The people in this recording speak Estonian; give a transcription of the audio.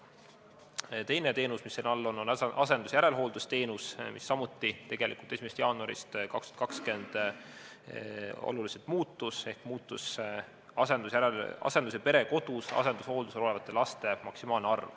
Teine teenus, mis selle osa all on, on asendushooldusteenus, mis samuti 1. jaanuarist 2020 oluliselt muutus ehk muutus asendus- ja perekodus asendushooldusel olevate laste maksimaalne arv.